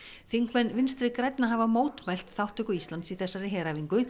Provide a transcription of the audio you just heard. þingmenn Vinstri grænna hafa mótmælt þátttöku Íslands í þessari heræfingu